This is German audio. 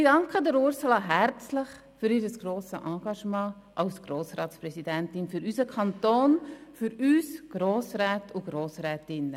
Ich danke Ursula Zybach herzlich für ihr grosses Engagement als Grossratspräsidentin für unseren Kanton, für uns Grossräte und Grossrätinnen.